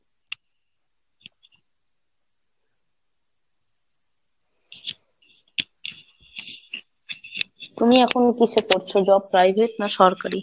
তুমি এখন কিসে করছো Job? Private না সরকারি?